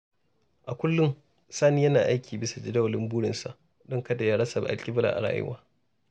A kullum, Sani yana aiki bisa jadawalin burinsa don kada ya rasa alƙibla a rayuwa.